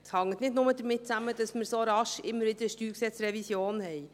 Es hängt nicht nur damit zusammen, dass man immer so schnell wieder eine StG-Revision haben.